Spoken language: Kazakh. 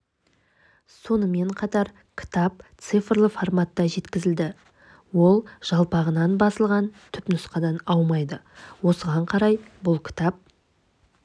сонымен қатар кітап цифрлы форматта жеткізілді ол жалпағынан басылған түпнұсқадан аумайды осыған қарай бұл кітап